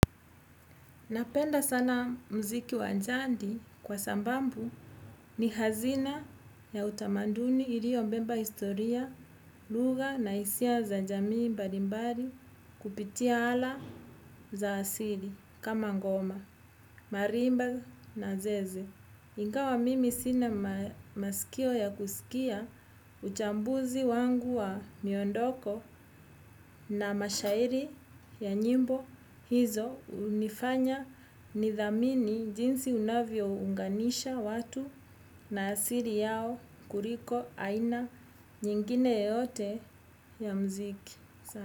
Napenda sana mziki wa jadi kwa sababu ni hazina ya utamaduni iliobeba historia, lugha na hisia za jamii mbalimbali kupitia ala za asili kama ngoma, marimba na zeze. Ingawa mimi sina masikio ya kusikia uchambuzi wangu wa miondoko na mashairi ya nyimbo hizo hunifanya nidhamini jinsi unavyounganisha watu na asili yao kuliko aina nyingine yote ya mziki.